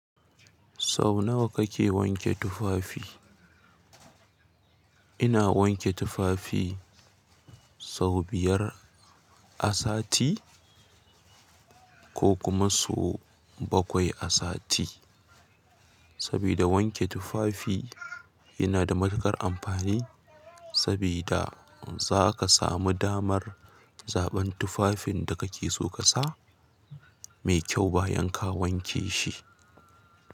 Sau nawa kake wanke tufafi? Ina wanke tufafi sau biyar a sati ko kuma sau bakwai a sati. Sabida wanke tufafi yana da matuƙar amfani sabida za ka samu damar zaɓan tufafin da kake so ƙasa mai kyau bayan ka wanke shi.